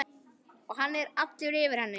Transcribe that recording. Og hann er allur yfir henni.